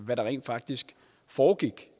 hvad der rent faktisk foregik